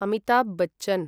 Amitabh Bachchan